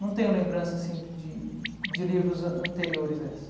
Não tenho lembrança assim de de de livros an anteriores a essa.